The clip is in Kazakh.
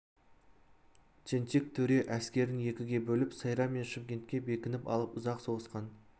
тентек төре әскерін екіге бөліп сайрам мен шымкентке бекініп алып ұзақ соғысқан